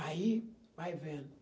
Aí, vai vendo.